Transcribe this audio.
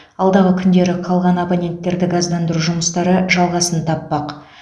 алдағы күндері қалған абоненттерді газдандыру жұмыстары жалғасын таппақ